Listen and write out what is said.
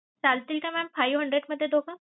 चालतील का mam five hundred मध्ये दोघ?